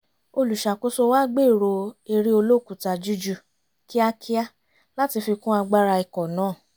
olùṣàkóso wa gbèrò eré olókùúta juíjù kíákíá láti fi kún agbára ikọ̀ náà